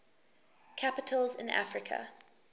capitals in africa